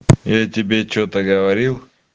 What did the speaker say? я тебе что-то говорил